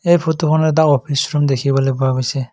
এই ফটোখনত এটা অফিচ ৰুম দেখিবলৈ পোৱা গৈছে।